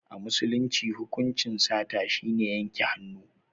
A musulunci hukuncin sata shine yanke hannu.